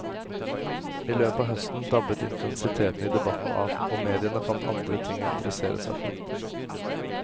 I løpet av høsten dabbet intensiteten i debatten av, og mediene fant andre ting å interessere seg for.